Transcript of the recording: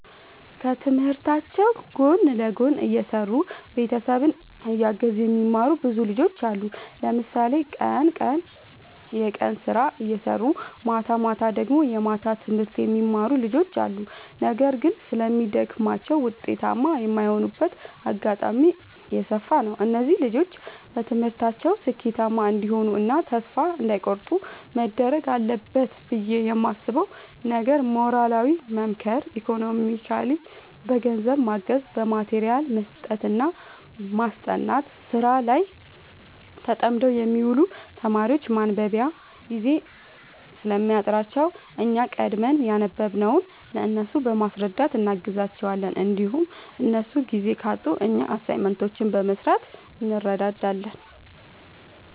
ከትምህርታቸው ጎን ለጎን እየሰሩ ቤተሰብ እያገዙ የሚማሩ ብዙ ልጆች አሉ። ለምሳሌ ቀን ቀን የቀን ስራ እየሰሩ ማታማታ ደግሞ የማታ ትምህርት የሚማሩ ልጆች አሉ። ነገር ግን ስለሚደግማቸው ውጤታማ የማይሆኑበት አጋጣሚ የሰፋ ነው። እነዚህ ልጆች በትምህርታቸው ስኬታማ እንዲሆኑ እና ተስፋ እንዳይ ቆርጡ መደረግ አለበት ብዬ የማስበው ነገር ሞራሊ መምከር ኢኮኖሚካሊ በገንዘብ ማገዝ በማቴሪያል መስጠትና ማስጠናት። ስራ ላይ ተጠምደው የሚውሉ ተማሪዎች ማንበቢያ ጊዜ ስለሚያጥራቸው እኛ ቀድመን ያነበብንውን ለእነሱ በማስረዳት እናግዛቸዋለን እንዲሁም እነሱ ጊዜ ካጡ እኛ አሳይመንቶችን በመስራት እንረዳዳለን